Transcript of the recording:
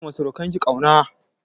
Ki nuna ma surukan ki ƙauna!